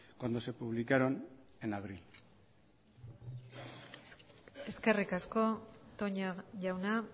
cuando se publicaron en abril eskerrik asko toña jauna